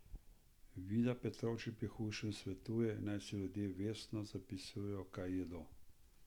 Vida Petrovčič pri hujšanju svetuje, naj si ljudje vestno zapisujejo, kaj jedo.